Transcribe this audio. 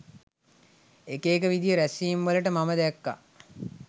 එක එක විදිහේ රැස්වීම් වලට මම දැක්කා